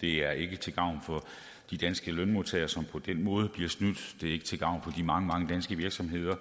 det er ikke til gavn for de danske lønmodtagere som på den måde bliver snydt det er ikke til gavn for de mange mange danske virksomheder